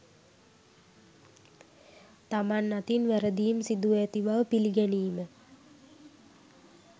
තමන් අතින් වැරදීම් සිදුව ඇති බව පිළිගැනීම